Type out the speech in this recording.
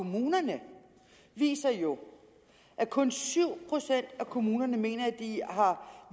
kommunerne viser jo at kun syv procent af kommunerne mener at de har